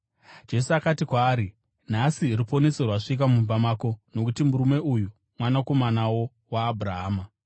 Jesu akati kwaari, “Nhasi ruponeso rwasvika mumba muno, nokuti murume uyu mwanakomanawo waAbhurahama.